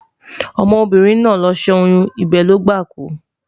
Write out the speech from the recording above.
ọmọ birin nà ló sẹ oyun, ibe Logba kú